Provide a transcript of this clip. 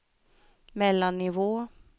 mellannivå